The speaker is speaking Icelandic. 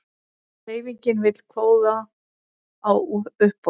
Hreyfingin vill kvóta á uppboð